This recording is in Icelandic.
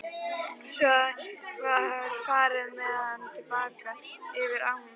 Svo var farið með hana til baka yfir ána.